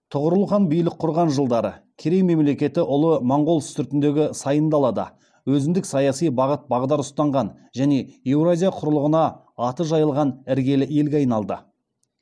тұғырыл хан билік құрған жылдары керей мемлекеті ұлы монғол үстіртіндегі сайын далада өзіндің саяси бағыт бағдар ұстанған және еуразия құрлығына аты жайылған іргелі елге айналды